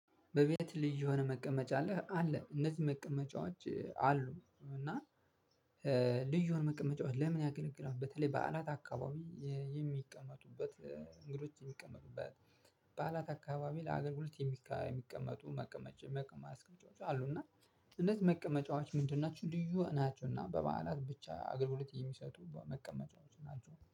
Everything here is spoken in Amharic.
በቤት ልዩ የሆነ መቀመጫ አለ አለ እነዚህ መቀመጫዎች አሉ። እና ልዩ የሆነ መቀመጫዎች ለምን ያገለግላል? በተለይ በዓላት አካባቢ የሚቀመጡበት እንግዶች የሚቀመጡበት በዓላት አካባቢ ለሀገር ጉልት የሚቀመጡ መቀመጫዎች አሉ። እና እንደዚህ መቀመጫዎች ምንድን ናችሁ? ልዩ ናቸውና በበዓላት ብቻ አገልግሎት የሚሰጡ መቀመጫዎች ናቸው።